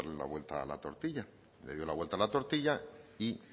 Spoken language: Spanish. darle la vuelta a la tortilla le dio la vuelta a la tortilla y